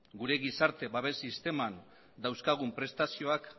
gure gizarte babes sisteman dauzkagun prestazioak